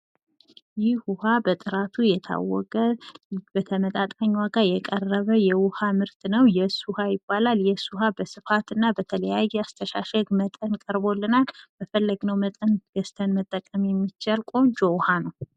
ይህ ውሃ በጥራቱ የታወቀ በተመጣጣኝ ዋጋ የቀረበ የውሃ ምርት ነው። የስ ውሃ ይባላል። የስ ውሃ በስፋት እና በተለያየ የአስተሻሸግ መጠን ቀርቦልናል። በፈለግነው መጠን ገዝተን መጠቀም የሚቻል ቆንጆ ውሃ ነው።